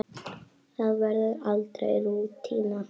Það verður aldrei rútína.